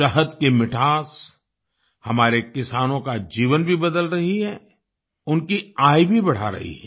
शहद की मिठास हमारे किसानों का जीवन भी बदल रही है उनकी आय भी बढ़ा रही है